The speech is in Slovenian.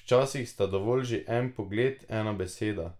Včasih sta dovolj že en pogled, ena beseda.